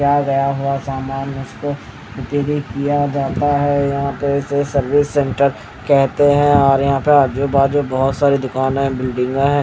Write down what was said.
आया हुआ सामान उसको उत्तरी किया जाता है यहां पे इसे सर्विस सेंटर कहते हैं और यहां पे आजूबाजू बहुत सारी दुकान है.